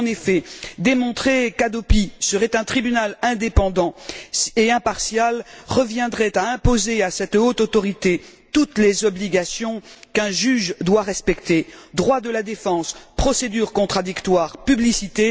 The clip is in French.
En effet, démontrer qu'Hadopi serait un tribunal indépendant et impartial reviendrait à imposer à cette haute autorité toutes les obligations qu'un juge doit respecter droit de la défense, procédure contradictoire, publicité.